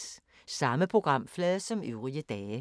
Samme programflade som øvrige dage